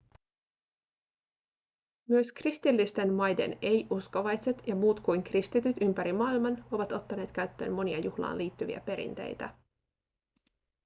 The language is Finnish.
myös kristillisten maiden ei-uskovaiset ja muut kuin kristityt ympäri maailman ovat ottaneet käyttöön monia juhlaan liittyviä perinteitä